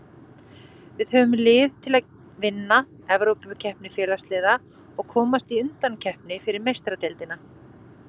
Við höfum lið til að vinna Evrópukeppni Félagsliða og komast í undankeppni fyrir Meistaradeildina.